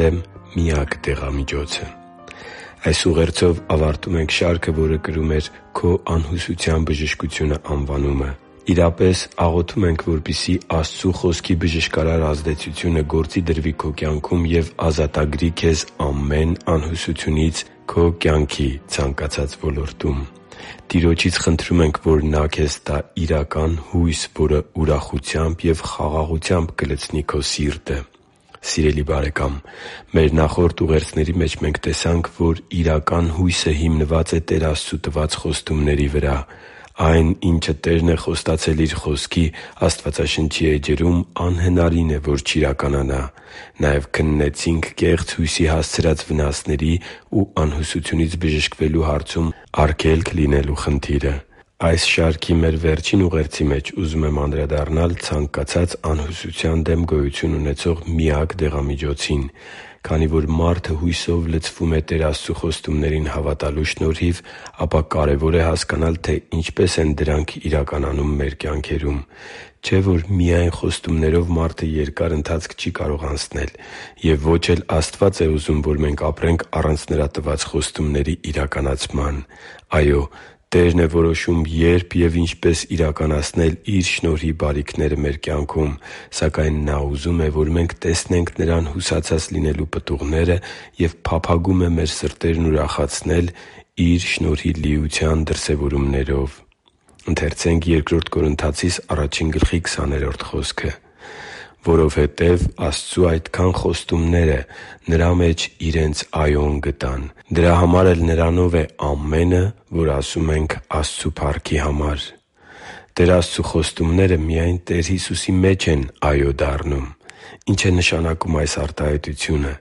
դեմ միակ դեղամիջոցը Այս ուղերձով ավարտում ենք շարքը, որը կրում էր «Քո անհուսության բժշկությունը» անվանումը։ Իրապես աղոթում ենք, որպեսզի Աստծու Խոսքի բժշկարար ազդեցությունը գործի դրվի քո կյանքում և ազատագրի քեզ ամեն անհուսությունից քո կյանքի ցանկացած ոլորտում։ Տիրոջից խնդրում ենք, որ Նա քեզ տա իրական հույս, որը ուրախությամբ և խաղաղությամբ կլցնի քո սիրտը։ Սիրելի՛ բարեկամ, մեր նախորդ ուղերձների մեջ տեսանք, որ իրական հույսը հիմնված է Տեր Աստծու տված խոստումների վրա։ Այն, ինչը Տերն է խոստացել Իր Խոսքի՝ Աստվածաշնչի էջերում, անհնարին է, որ չիրականանա։ Նաև քննեցինք կեղծ հույսի հասցրած վնասների ու անհուսությունից բժշկվելու հարցում արգելք լինելու խնդիրը։ Այս շարքի մեր վերջին ուղերձի մեջ ուզում եմ անդրադառնալ ցանկացած անհուսության դեմ գոյություն ունեցող միակ դեղամիջոցին։ Քանի որ մարդը հույսով լցվում է Տեր Աստծու խոստումներին հավատալու շնորհիվ, ապա կարևոր է հասկանալ, թե ինչպե՛ս են դրանք իրականանում մեր կյանքերում։ Չէ՞ որ միայն խոստումներով մարդը երկար ընթացք չի կարող անցնել։ Եվ ո՛չ էլ Աստված է ուզում, որ մենք ապրենք առանց Նրա տված խոստումների իրականացման։ Այո՛, Տերն է որոշում՝ երբ և ինչպես իրականացնել Իր շնորհի բարիքները մեր կյանքում, սակայն Նա ուզում է, որ մենք տեսնենք Նրան հուսացած լինելու պտուղները, և փափագում է մեր սրտերն ուրախացնել Իր շնորհի լիության դրսևորումներով։ «Որովհետև Աստծու այդքան խոստումները Նրա մեջ իրենց «այո»-ն գտան. դրա համար էլ Նրանով է «Ամեն»-ը, որ ասում ենք Աստծու փառքի համար» (Բ Կորնթացիս 1․20): Տեր Աստծու խոստումները միայն Տեր Հիսուսի մեջ են «այո» դառնում։ Ի՞նչ է նշանակում այս արտահայտությունը։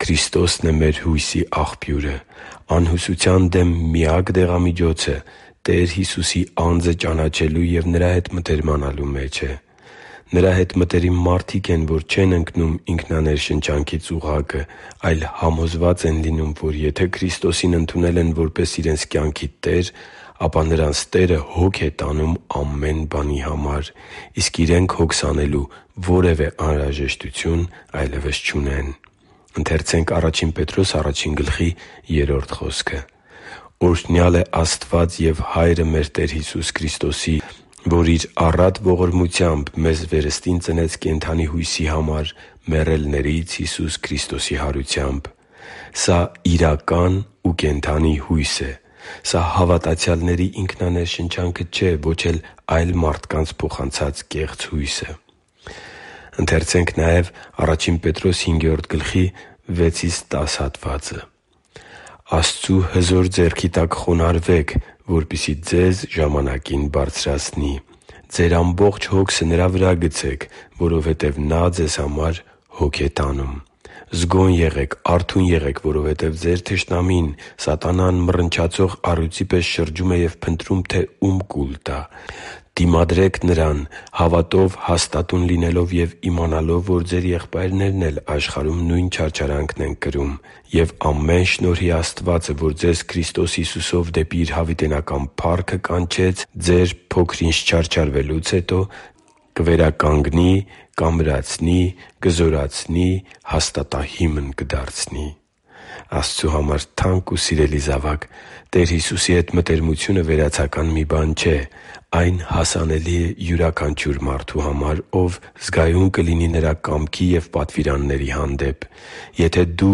Քրիստոսն է մեր հույսի աղբյուրը։ Անհուսության դեմ միակ դեղամիջոցը Տեր Հիսուսի անձը ճանաչելու և Նրա հետ մտերմանալու մեջ է։ Նրա հետ մտերիմ մարդիկ են, որ չեն ընկնում ինքնաներշնչանքի ծուղակը, այլ համոզված են լինում, որ եթե Քրիստոսին ընդունել են որպես իրենց կյանքի Տեր, ապա նրանց Տերը հոգ է տանում ամեն բանի համար, իսկ իրենք հոգս անելու որևէ անհրաժեշտություն այլևս չունեն։ «Օրհնյալ է Աստված և Հայրը մեր Տեր Հիսուս Քրիստոսի, որ Իր առատ ողորմությամբ մեզ վերստին ծնեց կենդանի հույսի համար՝ մեռելներից Հիսուս Քրիստոսի հարությամբ» (Ա Պետրոս 1․3): Սա իրական ու կենդանի հույս է։ Սա հավատացյալների ինքնաներշնչանքը չէ, ոչ էլ այլ մարդկանց փոխանցած կեղծ հույսը։ «Աստծու հզոր ձեռքի տակ խոնարհվե՛ք, որպեսզի ձեզ ժամանակին բարձրացնի։ Ձեր ամբողջ հոգսը Նրա վրա՛ գցեք, որովհետև Նա ձեզ հոգ է տանում։ Զգո՛ն եղեք, արթո՛ւն եղեք, որովհետև ձեր թշնամին՝ սատանան, մռնչացող առյուծի պես շրջում է և փնտրում, թե ո՛ւմ կուլ տա։ Դիմադրե՛ք նրան՝ հավատով հաստատուն լինելով և իմանալով, որ ձեր եղբայրներն էլ աշխարհում նույն չարչարանքներն են կրում։ Եվ ամեն շնորհի Աստվածը, որ ձեզ Քրիստոս Հիսուսով դեպի Իր հավիտենական փառքը կանչեց, ձեր՝ փոքր-ինչ չարչարվելուց հետո կվերականգնի, կամրացնի, կզորացնի, հաստատահիմն կդարձնի» (Ա Պետրոս 5.6-10): Աստծո համար թանկ ու սիրելի՛ զավակ, Տեր Հիսուսի հետ մտերմությունը վերացական մի բան չէ։ Այն հասանելի է յուրաքանչյուր մարդու համար, ով զգայուն կլինի Նրա կամքի և պատվիրանների հանդեպ։ Եթե դու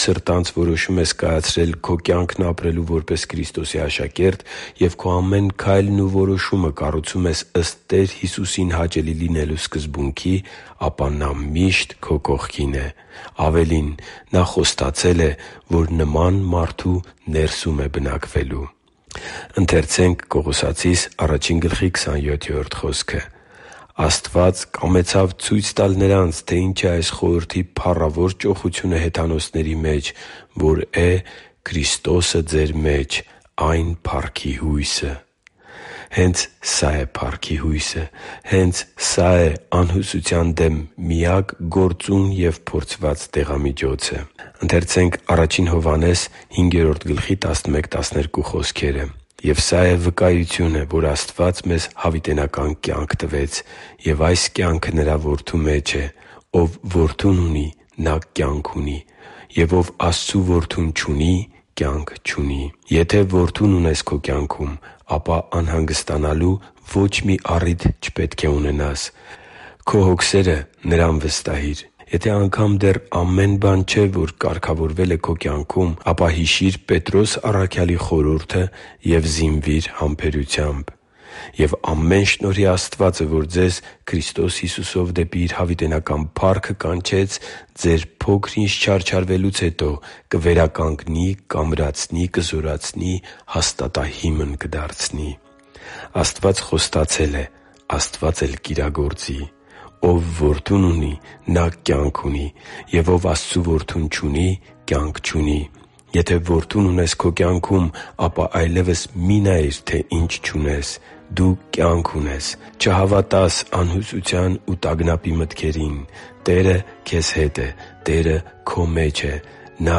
սրտանց որոշում ես կայացրել քո կյանքն ապրելու որպես Քրիստոսի աշակերտ և քո ամեն քայլն ու որոշումը կառուցում ես ըստ Տեր Հիսուսին հաճելի լինելու սկզբունքի, ապա Նա միշտ քո կողքին է։ Ավելին, Նա խոստացել է, որ նման մարդու ներսում է բնակվելու։ «Աստված կամեցավ ցույց տալ նրանց, թե ի՛նչ է այս խորհրդի փառավոր ճոխությունը հեթանոսների մեջ, որ է Քրիստոսը ձեր մեջ, այն փառքի հույսը» (Կողոսացիս 1․27): Հե՛նց սա է փառքի հույսը։ Հե՛նց սա է անհուսության դեմ միակ գործուն և փորձված դեղամիջոցը։ «Եվ սա է վկայությունը, որ Աստված մեզ հավիտենական կյանք տվեց, և այս կյանքը Նրա Որդու մեջ է։ Ով Որդուն ունի, նա կյանք ունի, և ով Աստծու Որդուն չունի, կյանք չունի» (Ա Հովհաննես 5․11-12): Եթե Որդուն ունես քո կյանքում, ապա անհանգստանալու ո՛չ մի առիթ չպետք է ունենաս։ Քո հոգսերը Նրան վստահի՛ր։ Եթե անգամ դեռ ամեն բան չի կարգավորվել քո կյանքում, ապա հիշի՛ր Պետրոս առաքյալի խորհուրդը և զինվի՛ր համբերությամբ․ «Եվ ամեն շնորհի Աստվածը, որ ձեզ Քրիստոս Հիսուսով դեպի Իր հավիտենական փառքը կանչեց, ձեր՝ փոքր-ինչ չարչարվելուց հետո կվերականգնի, կամրացնի, կզորացնի, հաստատահիմն կդարձնի»։ Աստված խոստացել է, Աստված կիրագործի։ «Ով Որդուն ունի, նա կյանք ունի, և ով Աստծու Որդուն չունի, կյանք չունի»։ Եթե Որդուն ունես քո կյանքում, ապա այլևս մի՛ նայիր, թե ինչ չունես։ Դու կյանք ունես։ Չհավատա՛ս անհուսության ու տագնապի մտքերին։ Տերը քեզ հետ է։ Տերը քո մեջ է։ Նա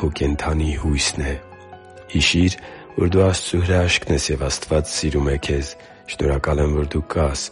քո կենդանի Հույսն է․․․ Հիշի՛ր, որ դու Աստծո հրաշքն ես, և Աստված սիրում է քեզ։ Շնորհակալ եմ, որ դու կա՛ս։